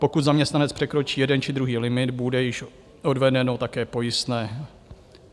Pokud zaměstnanec překročí jeden či druhý limit, bude již odvedeno také pojistné.